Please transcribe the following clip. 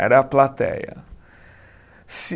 Era a plateia. Se